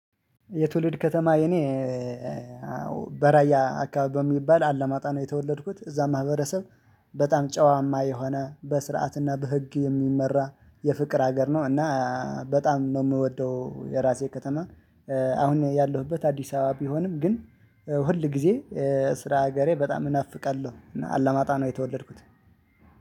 የትውልድ ከተማ የኔ በራያ አካባቢ በሚባል አለማጣ ነው የተወለድኩት እዛ ማህበረሰብ በጣም ጨዋማ የሆነ በስርዓት እና በህግ የሚመራ የፍቅር ሀገር ነው። እና በጣም ነው የምወደው የራሴ ከተማ። አሁን ያለሁበት አዲስ አበባ ቢሆንም ግን ሁል ጊዜ ስራ ሀገሬ በጣም እናፍቃለሁ። እና አለማጣ ነው የተወለድኩት።